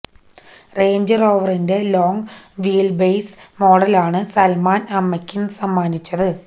range റോവറിന്റെ long wheelbase മോഡലാണ് സൽമാൻ അമ്മയ്ക്ക് സമ്മാനിച്ചത്